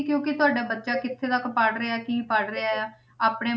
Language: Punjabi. ਕਿਉਂਕਿ ਤੁਹਾਡਾ ਬੱਚਾ ਕਿੱਥੇ ਤੱਕ ਪੜ੍ਹ ਰਿਹਾ, ਕੀ ਪੜ੍ਹ ਰਿਹਾ ਹੈ, ਆਪਣੇ